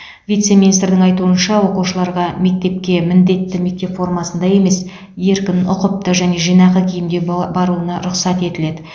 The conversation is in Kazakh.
вице министрдің айтуынша оқушыларға мектепке міндетті мектеп формасында емес еркін ұқыпты және жинақы киімде баруына рұқсат етіледі